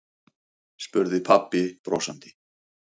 spurði pabbi brosandi.